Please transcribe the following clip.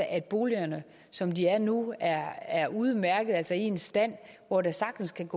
at boligerne som de er nu er er udmærkede altså i en stand hvor der sagtens kan